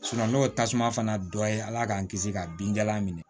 n'o tasuma fana dɔ ye ala k'an kisi ka binjalan minɛ